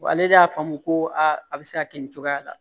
Ale de y'a faamu koo a bɛ se ka kɛ nin cogoya la